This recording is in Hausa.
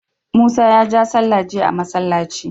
musa ya ja sallah jiya a masallaci